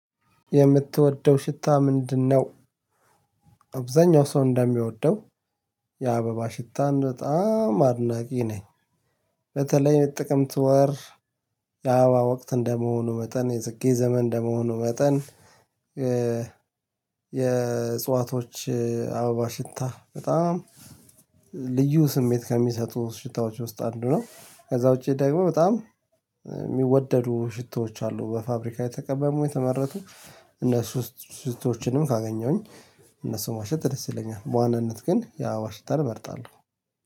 የምትወደው ሽታ ምንድነው? አብዛኛው ሰው እንደሚወደው የአበባ ሽታን በጣም አድናቂ ነኝ። በተለይ የጥቅምት ወር የአበባ ወቅት እንደመሆኑ መጠን የጽጌ ዘመን እንደመሆኑ መጠን። የእጽዋቶች አበባ ሽታ በጣም ልዩ ስሜት ከሚሰጡ ሽታዎች ውስጥ አንዱ ነው። ከዛ ውጪ ደግሞ በጣም የሚወደዱ ሽቶዎች አሉ በፋብሪካ የተቀመሙ የተመረቱ እነሱ ሽቶዎችንም ካገኘሁኝ እነሱ ማሸት ደስ ይለኛል። በዋናነት ግን የአበባ ሽታን እመርጣለሁ።